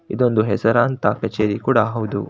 ಇದೊಂದು ಹೆಸರಾಂತ ಕಚೇರಿ ಕೂಡ ಹೌದು.